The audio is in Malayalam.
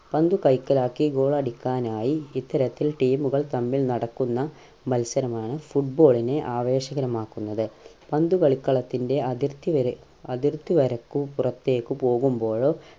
പന്ത് കൈക്കലാക്കി goal അടിക്കാനായി ഇത്തരത്തിൽ team കൾ തമ്മിൽ നടക്കുന്ന മത്സരമാണ് football നെ ആവേശകരമാക്കുന്നത് പന്ത് കളിക്കളത്തിൻ്റെ അതിർത്തി വരെ അതിർത്തി വരക്കു പുറത്തേക്ക് പോകുമ്പോഴോ